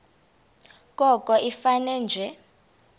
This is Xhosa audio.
koko ifane nje